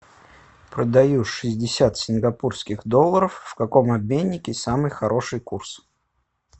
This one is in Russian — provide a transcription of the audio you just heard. продаю шестьдесят сингапурских долларов в каком обменнике самый хороший курс